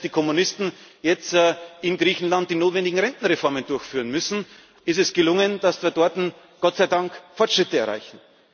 geben. Und obwohl selbst die Kommunisten jetzt in Griechenland die notwendigen Rentenreformen durchführen müssen, ist es gelungen, dass wir dort Gott sei Dank Fortschritte erreichen.